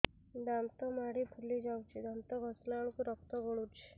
ଦାନ୍ତ ମାଢ଼ୀ ଫୁଲି ଯାଉଛି ଦାନ୍ତ ଘଷିଲା ବେଳକୁ ରକ୍ତ ଗଳୁଛି